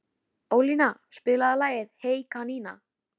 Ólína, spilaðu lagið „Hey kanína“.